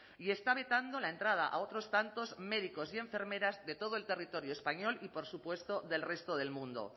y está vetando la entrada a otros tantos médicos y enfermeras de todo el territorio español y por supuesto del resto del mundo